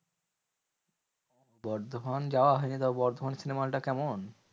বর্ধমান যাওয়া হয় নি তাও, বর্ধমান cinema hall টা কেমন?